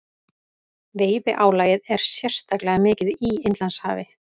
Veiðiálagið er sérstaklega mikið í Indlandshafi.